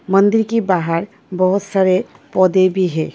मंदिर के बाहर बहुत सारे पौधे भी है।